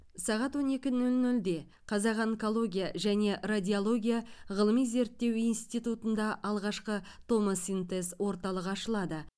сағат он екі нөл нөлде қазақ онкология және радиология ғылыми зерттеу институтында алғашқы томосинтез орталығы ашылады